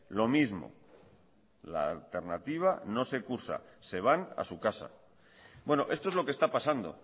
lo mismo la alternativa no se cursa se van a su casa bueno esto es lo que está pasando